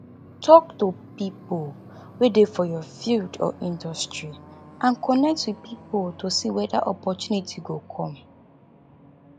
talk to pipo wey dey for your field or industry and connect with pipo to see weda opportunity go come